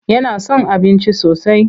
Yana son abinci sosai.